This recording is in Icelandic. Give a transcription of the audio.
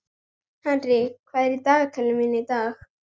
Henrik, hvað er í dagatalinu mínu í dag?